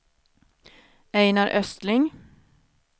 Ejnar Östling